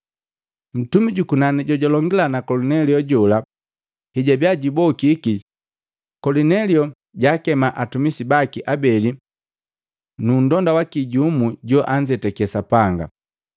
Ntumi jukunani jojulongila na Kolinelio jola hejabia jubokiki, Kolinelio jaakema atumisi baki abeli nundonda waki jumu joanzetake Sapanga,